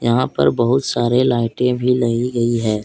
यहां पर बहुत सारे लाइटें भी लगी गई है।